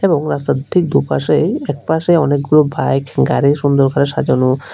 এবং রাস্তার ঠিক দুপাশেই একপাশে অনেকগুলো বাইক গাড়ি সুন্দর করে সাজানো।